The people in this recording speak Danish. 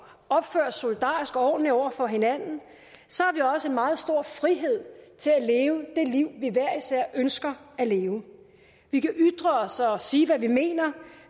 opfører os solidarisk og ordentligt over for hinanden har vi også en meget stor frihed til at leve det liv vi hver især ønsker at leve vi kan ytre os og sige hvad vi mener